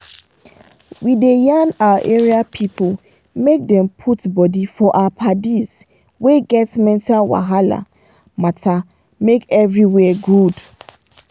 we da yan our area people make dem put body for our padis wey get mental wahala matter make everywhere good